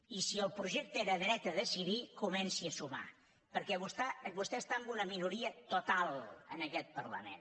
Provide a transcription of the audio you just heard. i si el projecte era dret a decidir comenci a sumar perquè vostè està en una minoria total en aquest parlament